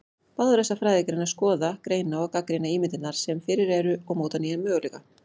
Báðar þessar fræðigreinar skoða, greina og gagnrýna ímyndirnar sem fyrir eru og móta nýja möguleika.